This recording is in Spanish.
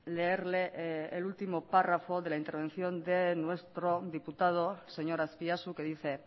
leerle el último párrafo de la intervención de nuestro diputado señor azpiazu que dice